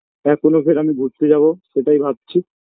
এখনো ফের আমি ঘুরতে যাবো সেটাই ভাবছি